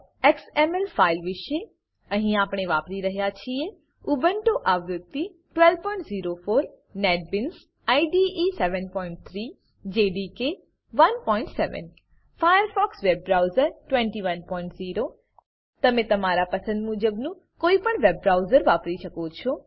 web XML ફાઈલ વિશે અહીં આપણે વાપરી રહ્યા છીએ ઉબુન્ટુ આવૃત્તિ 1204 NetBeans IDE 7૩ JDK 17 Firefox web browser 210 તમે તમારા પસંદ મુજબનું કોઈપણ વેબ બ્રાઉઝર વાપરી શકો છો